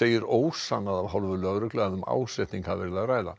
segir ósannað af hálfu lögreglu að um ásetning hafi verið að ræða